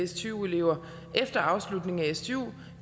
stu elever efter afslutningen af stu